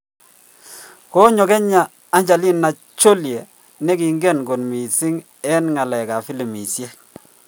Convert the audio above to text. Konyo kenya Angelina Jolie Negingen kot missing en ngalekap filimishek